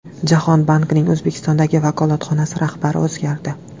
Jahon bankining O‘zbekistondagi vakolatxonasi rahbari o‘zgardi.